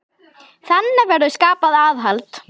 Þannig verður skapað aðhald.